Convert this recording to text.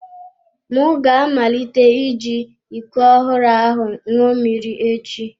M ga-amalite iji iko ọhụrụ ahụ ṅụọ mmiri echi.